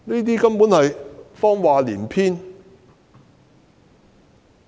她根本是謊話連篇。